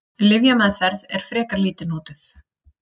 Lyfjameðferð er frekar lítið notuð.